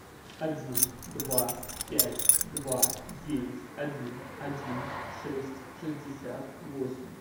один два пять два девять один один шесть шестьдесят восемь